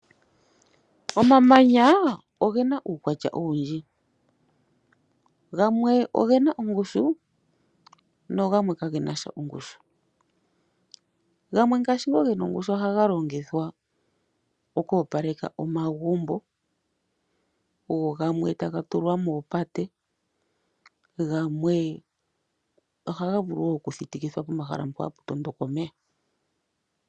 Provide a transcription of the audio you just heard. Omamanya ogena uukwatya owundji, gamwe ogena ongushu nogamwe kagenasha ongushu , gamwe ngashi ngo ge nongushu oha galongithwa okoopaleka omagumbo go gamwe ta gatulwa moopate, gamwe ohaga vulu woo kuthitika pomahala mpo hapu tondoka omeya.